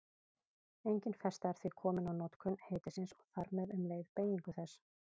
Engin festa er því komin á notkun heitisins og þar með um leið beygingu þess.